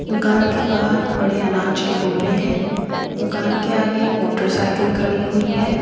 दुकान के बाहर बड़े अनाज के बोरे हैं दुकान के आगे एक मोटरसाइकिल खड़ी हुई है।